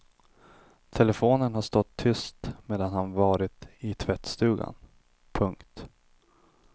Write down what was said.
Telefonen har stått tyst medan han varit i tvättstugan. punkt